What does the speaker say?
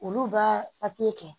Olu b'a kɛ